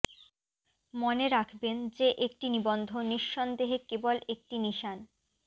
মনে রাখবেন যে একটি নিবন্ধ নিঃসন্দেহে কেবল একটি নিশান